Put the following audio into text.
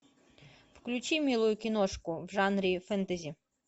включи милую киношку в жанре фэнтези